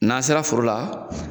N'an sera foro la